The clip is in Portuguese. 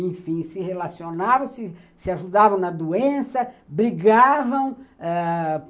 Enfim, se relacionavam, se ajudavam na doença, brigavam.